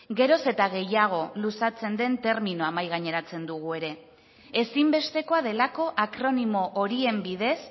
geroz eta gehiago luzatzen den terminoa mahai gaineratzen dugu ere ezinbestekoa delako akronimo horien bidez